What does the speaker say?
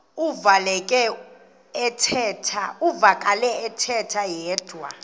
uvakele ethetha yedwa